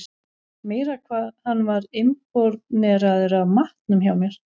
Meira hvað hann var impóneraður af matnum hjá mér.